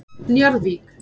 Njarðvík